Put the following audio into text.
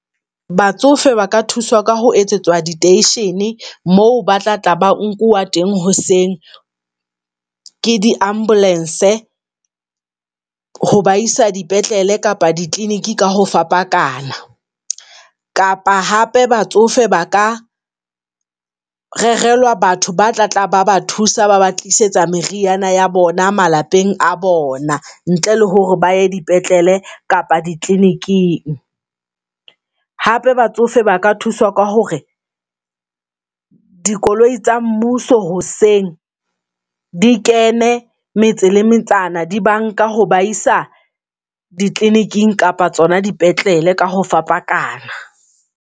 Batsofe ba ka thuswa ka ho etsetswa di-station-e moo ba tla tla ba nkuwa teng hoseng ke di-ambulance, ho ba isa di petlele kapa di-clinic ka ho fapakanya kapa hape batsofe ba ka rerelwa batho ba tla tla ba ba thusa ba ba tlisetsa meriana ya bona malapeng a bona ntle le hore ba ya dipetlele kapa di-clinic-ing. Hape batsofe ba ka thuswa ka hore dikoloi tsa mmuso hoseng di kene metse le metsana, di ba nka ho ba isa di-clinic-ing kapa tsona dipetlele ka ho fapakana.